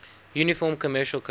uniform commercial code